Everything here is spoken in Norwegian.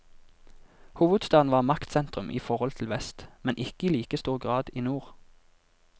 Hovedstaden var maktsentrum i forhold til vest, men ikke i like stor grad i nord.